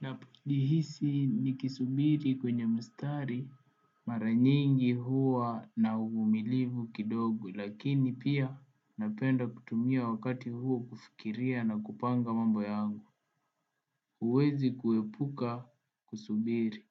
Ninavyojihisi nikisubiri kwenye mstari mara nyingi huwa na uvumilivu kidogo lakini pia napenda kutumia wakati huo kufikiria na kupanga mambo yangu huwezi kuepuka kusubiri